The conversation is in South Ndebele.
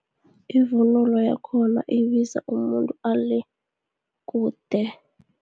Ivunulo yakhona, ibiza umuntu ale, kude.